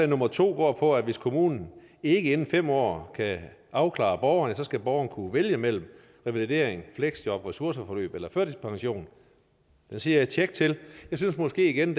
nummer to går på at hvis kommunen ikke inden fem år kan afklare borgeren så skal borgeren kunne vælge mellem revalidering fleksjob ressourceforløb eller førtidspension det siger jeg tjek til jeg synes måske igen